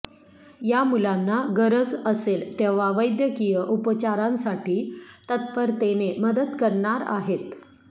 या मुलांना गरज असेल तेव्हा वैद्यकीय उपचारांसाठी तत्परतेने मदत करणार आहेत